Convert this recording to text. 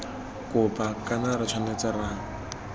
kopa kana re tshwanetse ra